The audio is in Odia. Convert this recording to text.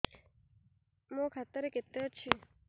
ମୋ ଖାତା ରେ କେତେ ଅଛି